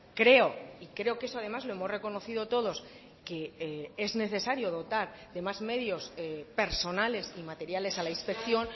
creo y creo que eso además lo hemos reconocido todos que es necesario dotar de más medios personales y materiales a la inspección